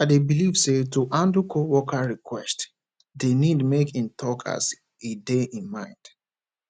i dey believe say to handle coworker request dey need make im talk as e dey im mind